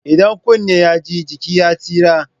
Idan kunni ya ji jiki ya tsira.